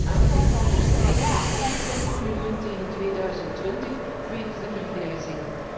Dit aantal zal nog stijgen naar 120 miljoen tegen 2020 door de vergrijzing.